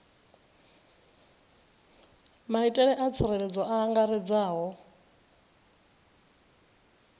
maitele a tsireledzo a angaredzaho